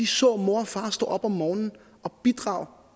så mor og far stå op om morgenen og bidrage